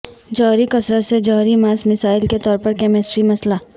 جوہری کثرت سے جوہری ماس مثال کے طور پر کیمسٹری مسئلہ